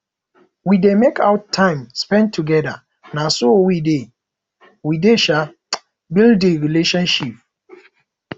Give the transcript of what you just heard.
we dey make out time spend togeda na so we dey we dey um build di friendship